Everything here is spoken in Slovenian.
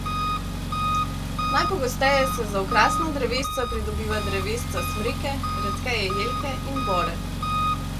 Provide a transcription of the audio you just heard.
Najpogosteje se za okrasna drevesca pridobiva drevesca smreke, redkeje jelke in bore.